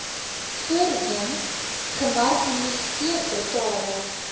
voorheen gemarginaliseerde tale